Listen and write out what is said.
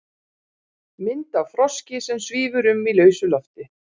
mynd af froski sem svífur um í lausu lofti